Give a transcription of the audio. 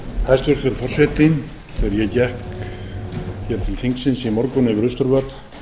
ég gekk hér til þingsins í morgun yfir austurvöll á